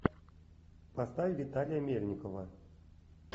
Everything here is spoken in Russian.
поставь виталия мельникова